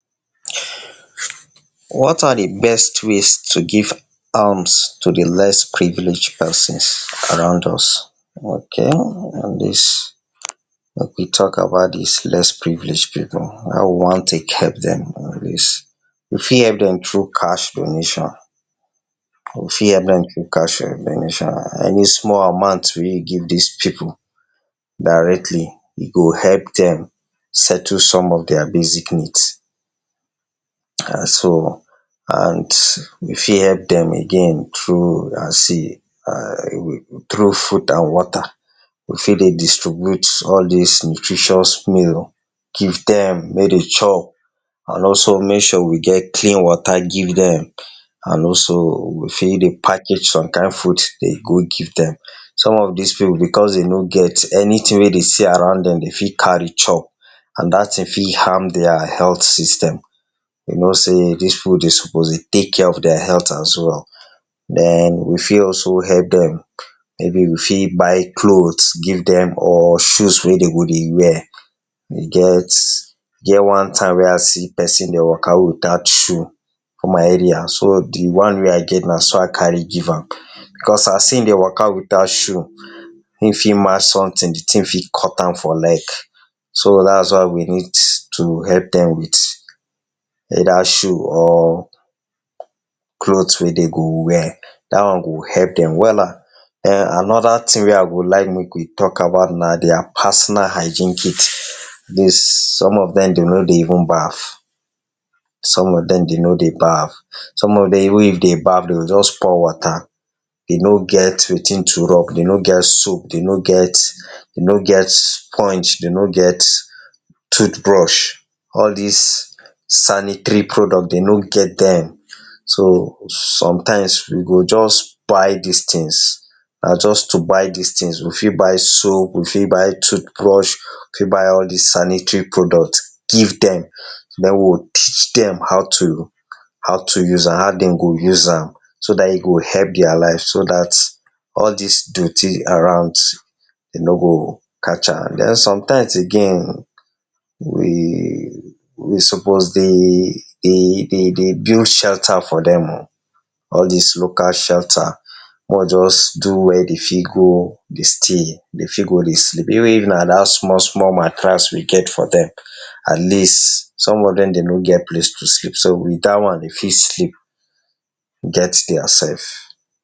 What are de best ways to give arms to de less privileged pesins around us? Okay um, dis, make we tok about dis less privileged pipu, how we wan take epp dem. We fit epp dem through cash donation, we fit epp dem through cash donation. Any small amount wey you give dis pipu directly, e go epp dem settle some of dia basic needs, um so. And we fit epp dem again through as in um through food and water. We fit dey distribute all dis nutritious meals, give dem make dem chop, and also make sure we get clean water give dem, and also, we fit dey package some kain food dey go give dem. Some of dis pipu because dem no get anytin wey dem see around dem, dem fit carry chop, and dat tin fit harm dia health system. You know sey dis pipu dem suppose dey take care of dia health as well. Den, we fit also epp dem. Maybe we fit buy cloth give dem or shoes wey dem go dey wear. E get e get one time wey I see pesin dey waka without shoe for my area. So, de one wey I get na so I carry give am. Because as[um]dey waka without shoe, hin fit march sometin, de tin fit cut am for leg. So, dat is why we need to epp dem with either shoe or clothes wey dem go wear. Dat one go epp dem wella. um Another tin wey I go like make we tok about na dia personal hygiene kit. some of dem dey no dey even baff. Some of dem dey no dey baff. Some of dem even if dem baff, dem go just pour water. Dem no get wetin to rub, dem no get soap, dem no get, dem no get sponge, dem no get toothbrush. All dis sanitary products, dem no get dem. So, sometimes, we go just buy dis tins. Na just to buy dis tins. We fit buy soap, we fit buy toothbrush, we fit buy all dis sanitary products, give dem. Den, we go teach dem how to how to use am, how dem go use am. So dat e go epp dia life, so dat all dis dirty around dey no go catch am. Den, sometimes again, we we suppose dey dey dey dey build shelter for dem oh. All dis local shelter. Make we just do where dem fit go dey stay, dem fit go dey sleep. Even if na dat small small mattress we get for dem. At least, some of dem, dem no get place to sleep. So, with dat one, dem fit sleep, get dia sef.